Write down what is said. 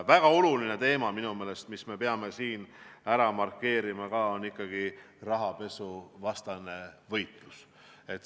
Väga oluline teema minu meelest, mille me peame ka siin ära markeerima, on rahapesuvastane võitlus.